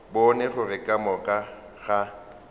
bone gore ka moka ga